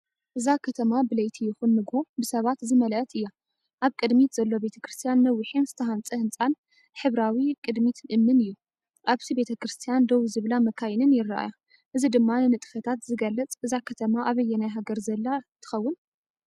እዛ ከተማ ብለይቲ ይኹን ንግሆ ብሰባት ዝመልአት እያ። ኣብ ቅድሚት ዘሎ ቤተክርስትያን ነዊሕን ዝተሃንጸ ህንጻን ሕብራዊ ቅድሚት እምኒን እዩ። ኣብቲ ቤተክርስትያን ደው ዝብላ መካይንን ይረኣያ። እዚ ድማ ንንጥፈታት ዝገልጽ እዛ ከተማ ኣበየናይ ሃገር ዘላ ትኸውን?